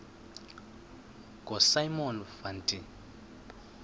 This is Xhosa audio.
ngosimon van der